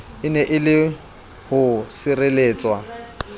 ene e le ho sireletswa